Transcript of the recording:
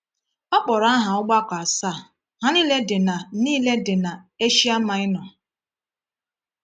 O kpọrọ aha ọgbakọ asaa, ha niile dị na niile dị na Eshia Maịnọ.